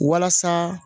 Walasa